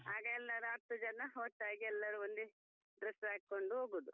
ಆಗ ಎಲ್ಲಾ ಹತ್ತು ಜನ ಒಟ್ಟಾಗಿ ಎಲ್ಲಾರು ಒಂದೇ dress ಹಾಕೊಂಡು ಹೋಗುದು.